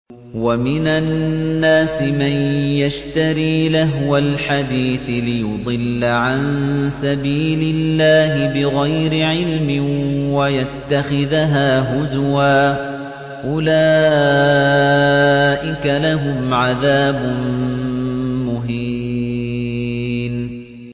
وَمِنَ النَّاسِ مَن يَشْتَرِي لَهْوَ الْحَدِيثِ لِيُضِلَّ عَن سَبِيلِ اللَّهِ بِغَيْرِ عِلْمٍ وَيَتَّخِذَهَا هُزُوًا ۚ أُولَٰئِكَ لَهُمْ عَذَابٌ مُّهِينٌ